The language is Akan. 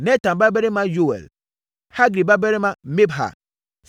Natan nuabarima Yoɛl; Hagri babarima Mibhar.